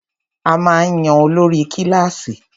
A máa ń yan olórí kílàsì.